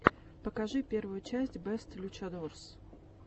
покажи первую часть бэст лючадорс